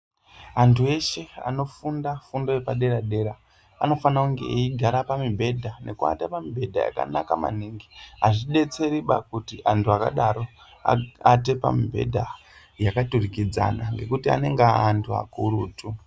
Antu eshe anofunda fundo yepadera dera anofanire kunge eigare pamibhedha nekuvata pamibhedha yakanaka maningi azvidetseriba kuti antu akadaro aate pamubhedha yakaturikidzana ngekuti anenge aantu akurutu.